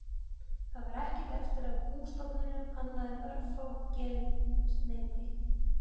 Það var ekkert eftir af bústofninum annað en örfá geldneyti.